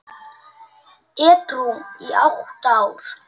Edrú í átta ár!